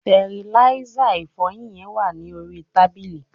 tẹriláísà ìfọyín yen wa ni orí tábìlì